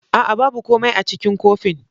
A'a! babu komai a cikin kofin.